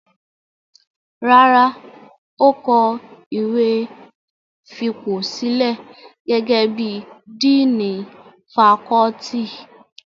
Rárá, ó kọ ìwé fipòsílẹ̀ gẹ́gẹ́ bí i díìnì fakọ́ọ́tì.